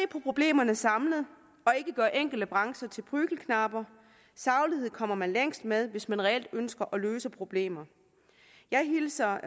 på problemerne samlet og ikke gøre enkelte brancher til prügelknabe saglighed kommer man længst med hvis man reelt ønsker at løse problemer jeg hilser